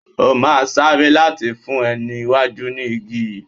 O máa sáré láti fún ẹni iwájú ní igi yìí.